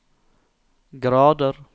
grader